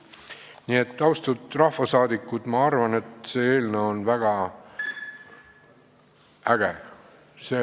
Nii et austatud rahvasaadikud, ma arvan, et see eelnõu on väga äge.